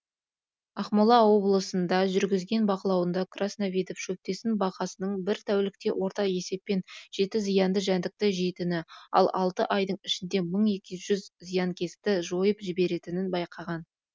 ақмола облысында жүргізген бақылауында красновидов шөптесін бақасының бір тәулікте орта есеппен жеті зиянды жәндікті жейтіні ал алты айдың ішінде мың екі жүз зиянкесті жойып жіберетінін байқаған